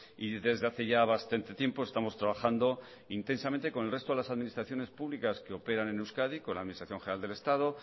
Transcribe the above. y desde hace ya bastante tiempo estamos trabajando intensamente con el resto de las administraciones públicas que operan en euskadi con la administración general del estado